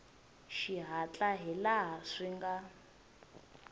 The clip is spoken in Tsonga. xihatla hi laha swi nga